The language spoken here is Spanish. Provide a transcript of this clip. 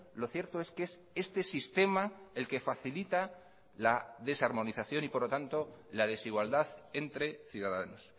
lo cierto es que es este sistema el que facilita la desarmonización y por lo tanto la desigualdad entre ciudadanos